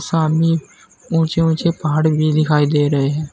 ऊंचे ऊंचे पहाड़ भी दिखाई दे रहे हैं।